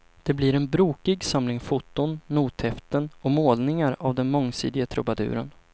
Det blir en brokig samling foton, nothäften och målningar av den mångsidige trubaduren.